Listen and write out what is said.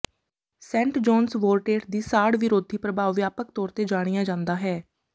Saint John's ਵੋਰਟੇਟ ਦੀ ਸਾੜ ਵਿਰੋਧੀ ਪ੍ਰਭਾਵ ਵਿਆਪਕ ਤੌਰ ਤੇ ਜਾਣਿਆ ਜਾਂਦਾ ਹੈ